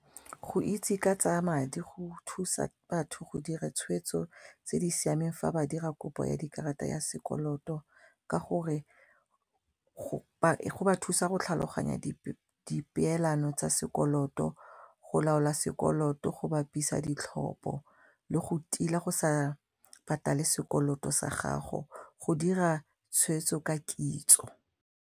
Go itse ka tsaya madi go thusa batho go dira tshweetso tse di siameng fa ba dira kopo ya dikarata ya sekoloto ka gore go ba thusa go tlhaloganya dipeelano tsa sekoloto go laola sekoloto go bapisa ditlhopo le go tila go sa patale sekoloto sa gago go dira tshweetso ka kitso.